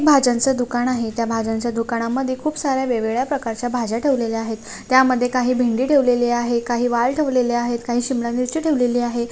भाज्यांच दुकान आहे त्या भाज्यांच्या दुकानामधे खूप साऱ्या वेगवेगळ्या प्रकारच्या भाज्या ठेवलेल्या आहेत त्यामधे काही भेंड़ी ठेवलेली आहे काही वाल ठेवलेले आहेत काही शिमला मिर्ची ठेवलेली आहे.